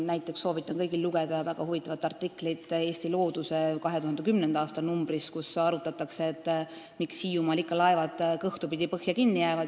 Näiteks soovitan kõigil lugeda väga huvitavat artiklit Eesti Looduse 2010. aasta numbrist, kus arutatakse, miks Hiiumaal ikka laevad kõhtupidi põhja kinni jäävad.